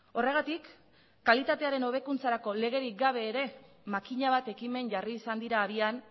horregatik kalitatearen hobekuntzarako legerik gabe ere makina bat ekimen jarri izan dira abian